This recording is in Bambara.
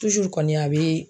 kɔni a bɛɛ